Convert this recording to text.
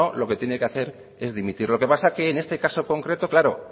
lo que tiene que hacer es dimitir lo que pasa es que en este caso concreto claro